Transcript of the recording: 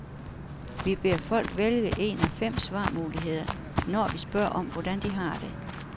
Vi beder folk vælge en af fem svarmuligheder, når vi spørger om, hvordan de har det.